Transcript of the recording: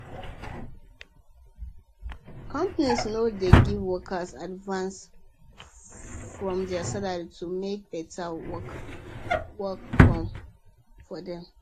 companies now dey give workers advance from their salary to make better workers come work for them